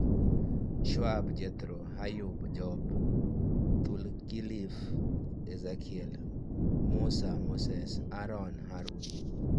Shu'aib (Jethro), Ayyub (Job), Dhulkifl (Ezekiel), Musa (Moses), Harun (Aaron).